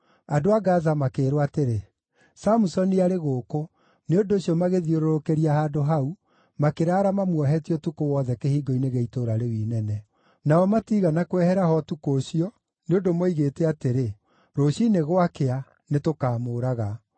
Andũ a Gaza makĩĩrwo atĩrĩ, “Samusoni arĩ gũkũ!” Nĩ ũndũ ũcio magĩthiũrũrũkĩria handũ hau, makĩraara mamuohetie ũtukũ wothe kĩhingo-inĩ gĩa itũũra rĩu inene. Nao matiigana kwehera ho ũtukũ ũcio, nĩ ũndũ moigĩte atĩrĩ, “Rũciinĩ gwakĩa, nĩtũkaamũũraga.”